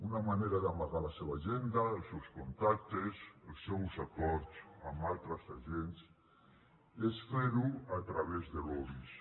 una manera d’amagar la seva agenda els seus contactes els seus acords amb altres agents és fer ho a través de lobbys